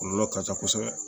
Kɔlɔlɔ ka ca kosɛbɛ